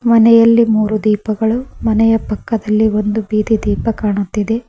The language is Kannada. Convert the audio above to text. ಮನೆಯಲ್ಲಿ ಮೂರು ದೀಪಾಗಳು ಮನೆಯ ಪಕ್ಕದಲಿ ಒಂದು ಬೀದಿ ದೀಪ ಕಾಣುತ್ತಿದೆ.